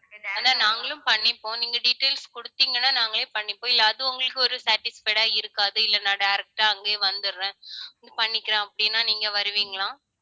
ஆனா நாங்களும் பண்ணிப்போம். நீங்க details கொடுத்தீங்கன்னா நாங்களே பண்ணிப்போம். இல்லை அது உங்களுக்கு ஒரு satisfied ஆ இருக்காது. இல்லை நான் direct ஆ அங்கேயே வந்துடுறேன் பண்ணிக்கலாம் அப்படின்னா நீங்க வருவீங்களா